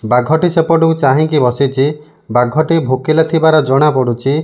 ବାଘଟି ସେପଟକୁ ଚାହିଁକି ବସିଚି ବାଘଟି ଭୋକିଲା ଥିବାର ଜଣା ପଡ଼ୁଚି।